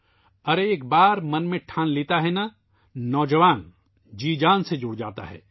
ارے ، ایک بار جب دل میں ٹھان لیتا ہے نا نو جوان ، جی جان سے لگ جاتا ہے